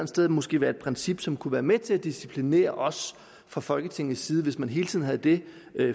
sted måske være et princip som kunne være med til at disciplinere os fra folketingets side altså hvis man hele tiden havde det